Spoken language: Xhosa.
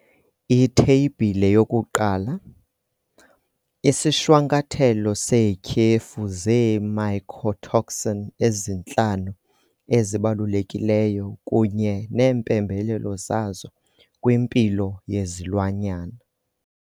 Itheyibhile 1- Isishwankathelo seetyhefu zee-mycotoxin ezintlanu ezibalulekileyo kunye neempembelelo zazo kwimpilo yezilwanyana.